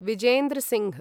Vijender Singh